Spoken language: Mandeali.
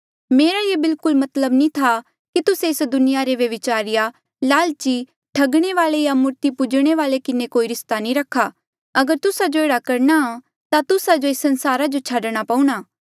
मेरा ये बिल्कुल मतलब नी था कि तुस्से एस दुनिया रे व्यभिचारिया लालची ठगणे वाले या मूर्ति पूजणे वाले किन्हें कोई रिस्ता नी रखा अगर तुस्सा जो एह्ड़ा करणा ता तुस्सा जो एस संसारा जो छाडणा पऊणा